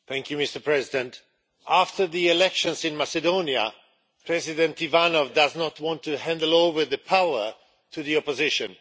Mr President, after the elections in Macedonia, President Ivanov does not want to hand over power to the opposition.